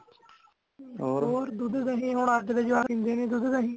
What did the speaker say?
ਹੋਰ ਦੁੱਧ ਦਹੀਂ ਹੁਣ ਅੱਜ ਦੇ ਜਵਾਕ ਪੀਂਦੇ ਨਹੀਂ ਦੁੱਧ ਦਹੀਂ